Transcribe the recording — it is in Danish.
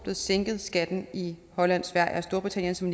en sænkning af skatten i holland sverige og storbritannien som